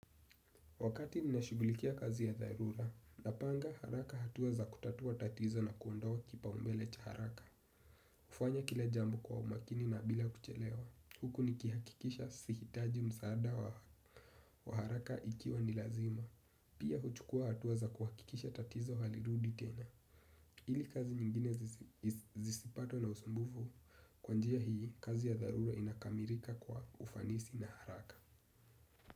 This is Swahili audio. Wakati ninashughulikia kazi ya dharura, napanga haraka hatua za kutatua tatizo na kuondoa kipaumbele cha haraka. Hufanya kila jambo kwa umakini na bila kuchelewa. Huku nikihakikisha sihitaji msaada wa haraka ikiwa ni lazima. Pia huchukua hatua za kuhakikisha tatizo halirudi tena ili kazi nyingine zisipatwe na usumbufu, kwa njia hii, kazi ya dharura inakamilika kwa ufanisi na haraka.